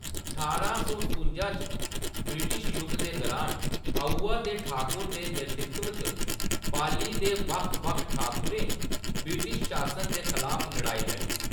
ठारांं सौ सतासीं च ब्रिटिश जुग दे दुरान, आउवा दे ठाकुर दे नेतृत्व च पाली दे बक्ख-बक्ख ठाकुरें ब्रिटिश शासन दे खलाफ लड़ाई लड़ी।